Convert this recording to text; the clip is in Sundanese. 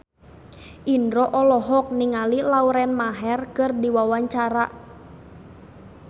Indro olohok ningali Lauren Maher keur diwawancara